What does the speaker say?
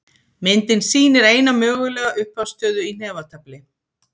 myndin sýnir eina mögulega upphafsstöðu í hnefatafli